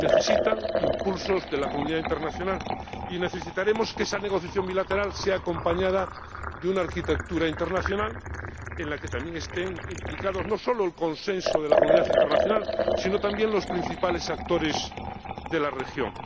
Necesitan impulsos de la comunidad internacional y necesitaremos que esa negociación bilateral vaya acompañada de una arquitectura internacional en la que estén implicados no solo el consenso de la comunidad internacional, sino también los principales actores de la región.